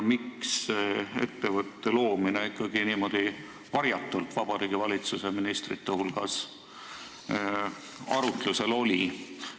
Miks see ettevõtte loomine ikkagi niimoodi varjatult Vabariigi Valitsuse ministrite hulgas arutlusel oli?